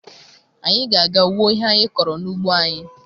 Anyị ga-aga wuo ihe anyị kọrọ n'ugbo anyị